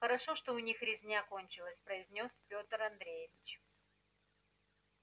хорошо что у них резня кончилась произнёс пётр андреевич